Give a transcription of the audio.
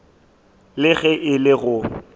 le ge e le go